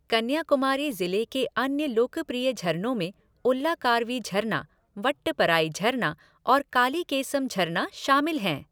कन्याकुमारी ज़िले के अन्य लोकप्रिय झरनों में उल्लाकार्वी झरना, वट्टपराई झरना और कालीकेसम झरना शामिल है।